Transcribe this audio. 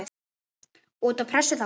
Út af pressu þá?